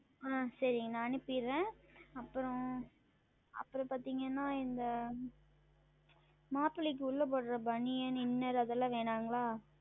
ஆஹ் சரி நான் அனுப்பிறேன் அப்புறம் அப்புறம் பார்த்தீர்கள் என்றால் இந்த மாப்பிளைக்கு உள்ளே உடுத்தும் BaniyanInner அது எல்லாம் வேண்டாம்ங்களா